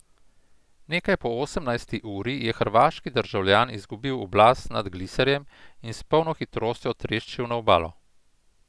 Nekaj po osemnajsti uri je hrvaški državljan izgubil oblast nad gliserjem in s polno hitrostjo treščil na obalo.